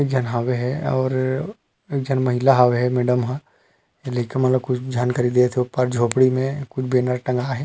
एक झन हावे हे और एक झन महिला हावे हे मैडम ह लइका मन ल कुछ झन खरीदत देत हवे ऊपर झोपड़ी में कुछ बैनर टंगा हे।